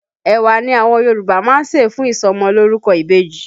Ẹ̀wà ni àwọn Yòrùbá máa ń ṣẹ̀ fún ìsọmọlórúkọ ìbejì